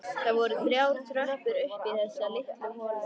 Það voru þrjár tröppur upp í þessa litlu holu.